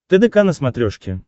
тдк на смотрешке